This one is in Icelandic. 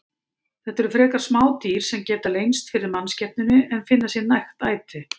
Þetta eru frekar smá dýr sem geta leynst fyrir mannskepnunni en finna sér nægt æti.